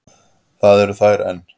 Það eru þær enn.